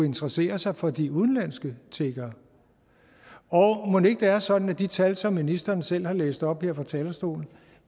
interessere sig for de udenlandske tiggere og mon ikke det er sådan at de tal som ministeren selv har læst op her fra talerstolen